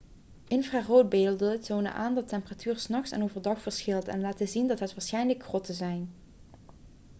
infraroodbeelden tonen aan dat de temperatuur s nachts en overdag verschilt en laten zien dat het waarschijnlijk grotten zijn